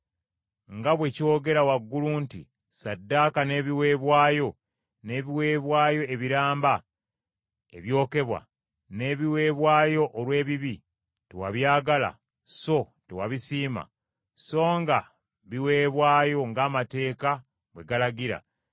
Nga bwe kyogera waggulu nti, Ssaddaaka n’ebiweebwayo, n’ebiweebwayo ebiramba ebyokebwa, n’ebiweebwayo olw’ebibi tewabyagala so tewabisiima, so nga biweebwayo ng’amateeka bwe galagira,